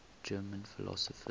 german philosophers